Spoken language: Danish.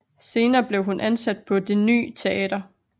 Senere blev hun ansat på Det ny Teater